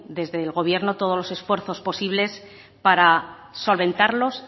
desde el gobierno todos los esfuerzos posibles para solventarlos